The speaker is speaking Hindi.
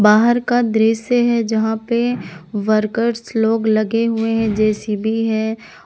बाहर का दृश्य है जहां पे वर्कर्स लोग लगे हुए है जे_सी_बी है।